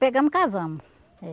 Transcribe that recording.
Pegamos e casamos.